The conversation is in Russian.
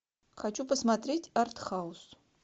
хочу посмотреть арт хаус